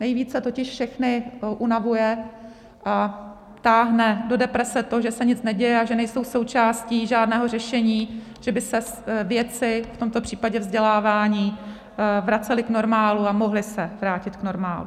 Nejvíce totiž všechny unavuje a táhne do deprese to, že se nic neděje a že nejsou součástí žádného řešení, že by se věci, v tomto případě vzdělávání, vracely k normálu a mohly se vrátit k normálu.